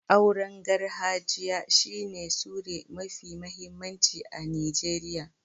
Auren garhajiya shi ne sure mafi mahimmanci a Nijeriya.